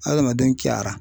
Adamaden cɛyara.